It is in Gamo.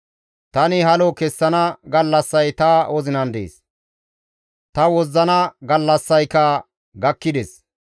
Tani halo kessana gallassay ta wozinan dees; ta wozzana gallassayka gakkides.